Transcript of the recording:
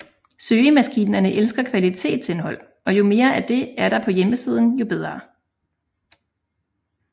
Søgemaskinerne elsker kvalitetsindhold og jo mere af det er der på hjemmesiden jo bedre